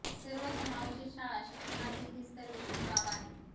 सर्व समावेशित शाळा शिक्षणाची हीच तर विशेष बाब आहे